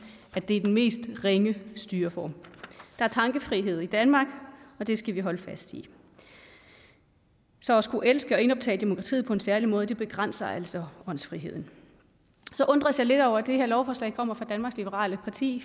at det er den mest ringe styreform der er tankefrihed i danmark og det skal vi holde fast i så at skulle elske og indoptage demokratiet på en særlig måde begrænser altså åndsfriheden jeg undres så lidt over at det her lovforslag kommer fra danmarks liberale parti